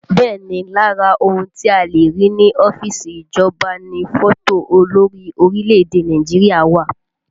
Bẹ́ẹ̀ ni, lára ohun tí a le rí ní ọ́fíìsì ìjọba ni fọ́tò olórí orílẹ̀èdè Nàìjíríà wà